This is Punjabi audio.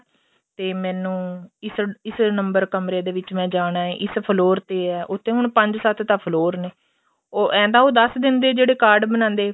ਤੇ ਮੈਨੂੰ ਇਸ ਇਸ ਨੰਬਰ ਕਮਰੇ ਦੇ ਵਿੱਚ ਮੈਂ ਜਾਣਾ ਇਸ floor ਤੇ ਏ ਉੱਥੇ ਹੁਣ ਪੰਜ ਸੱਤ ਤਾਂ floor ਨੇ ਏਂ ਤਾਂ ਉਹ ਦੱਸ ਦਿੰਦੇ ਏ ਜਿਹੜੇ card ਬਣਾਦੇ